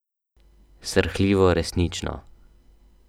Srhljivo resnično.